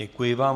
Děkuji vám.